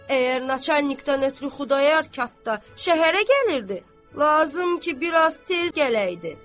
Əgər načərnikdən ötrü Xudayar qatda şəhərə gəlirdi, lazım ki, bir az tez gələydi.